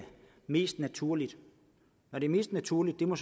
mest naturligt når det er mest naturligt må